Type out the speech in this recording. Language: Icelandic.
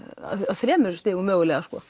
á þremur stigum mögulega sko